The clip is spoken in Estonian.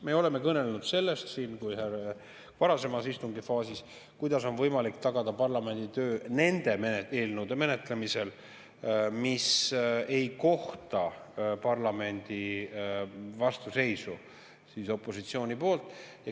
Me oleme siin varasemas istungifaasis kõnelenud sellest, kuidas oleks võimalik tagada parlamendi töö nende eelnõude menetlemisel, mis ei kohta parlamendi vastuseisu opositsiooni poolt.